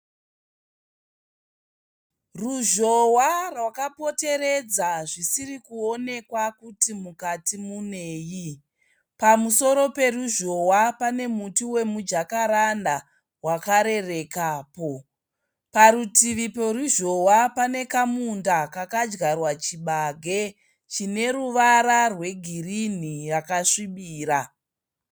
Ruzhowa rwakapoteredza zvisiri kuonekwa kuti mukati munei. Pamusoro peruzhowa pane muti wemujakaranda wakarerekapo. Parutivi poruzhowa pane chimunda chakadyarwa chibage chine ruvara rwegirinhi yakasvibira.